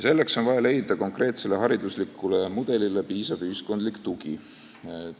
Selleks on vaja leida konkreetsele haridusmudelile piisav ühiskondlik tugi.